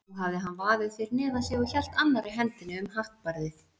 Nú hafði hann vaðið fyrir neðan sig og hélt annarri hendinni um hattbarðið.